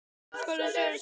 Það hefur kostað sitt.